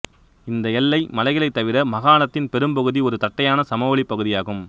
இந்த எல்லை மலைகளைத் தவிர மாகாணத்தின் பெரும்பகுதி ஒரு தட்டையான சமவெளி பகுதியாகும்